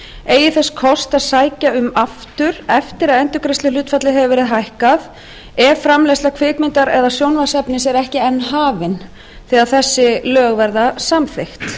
eigi þess kost að sækja um aftur eftir að endurgreiðsluhlutfallið hefur verið hækkað ef framleiðsla kvikmyndar eða sjónvarpsefnis er ekki enn hafin þegar þessi lög verða samþykkt